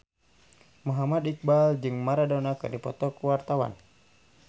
Muhammad Iqbal jeung Maradona keur dipoto ku wartawan